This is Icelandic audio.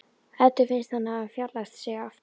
Eddu finnst hann hafa fjarlægst sig aftur.